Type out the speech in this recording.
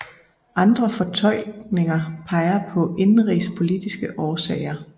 Andre fortolkninger peger på indenrigspolitiske årsager